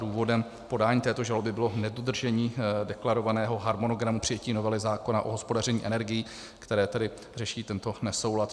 Důvodem podání této žaloby bylo nedodržení deklarovaného harmonogramu přijetí novely zákona o hospodaření energií, které tedy řeší tento nesoulad.